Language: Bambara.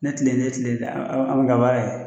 Ne tile ne tile la a ma kɛ baara ye